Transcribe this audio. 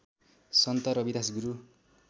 सन्त Ravidas गुरू